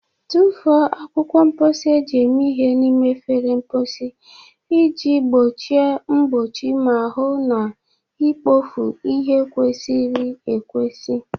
Tụfuo akwụkwọ mposi eji eme ihe n'ime efere mposi iji gbochie mgbochi ma hụ na ikpofu ihe kwesịrị ekwesị.